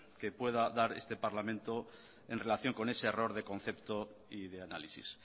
que pueda dar este parlamento en relación con ese error de concepto y de análisis